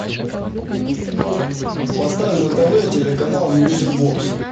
поставь на тв телеканал мьюзик бокс